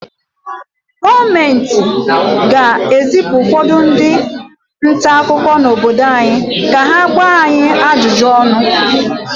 Gọọmenti ga-ezipụ ụfọdụ ndị nta akụkọ n’obodo anyị ka ha gbaa anyị ajụjụ ọnụ